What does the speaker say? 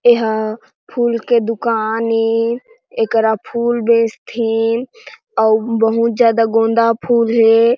एहा फूल के दुकान ए करा फूल बेचथे अऊ बहुत ज्यादा गोंदा फूल हे।